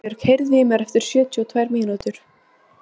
Steinbjörg, heyrðu í mér eftir sjötíu og tvær mínútur.